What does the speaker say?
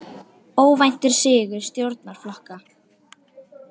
Óvæntur sigur stjórnarflokka